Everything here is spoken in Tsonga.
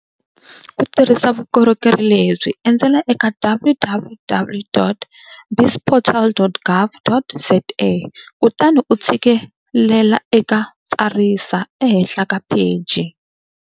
Ku tirhisa vukorhokeri le byi, endzela eka www.bizportal.gov.za kutani u tshike lela eka tsarisa ehenhla ka pheji.